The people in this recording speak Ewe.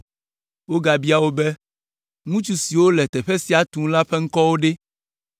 Wogabia wo be, “Ŋutsu siwo le teƒe sia tum la ƒe ŋkɔwo ɖe?”